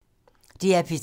DR P3